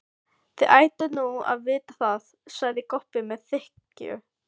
Þið ættuð nú að vita það, sagði Kobbi með þykkju.